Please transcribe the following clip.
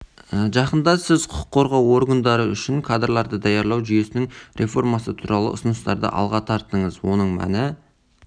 жақында сіз құқық қорғау органдары үшін кадрларды даярлау жүйесінің реформасы туралы ұсыныстарды алға тарттыңыз оның мәні